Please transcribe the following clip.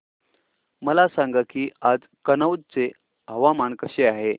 मला सांगा की आज कनौज चे हवामान कसे आहे